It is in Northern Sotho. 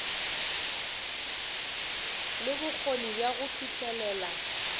le bokgoni bja go fihlelela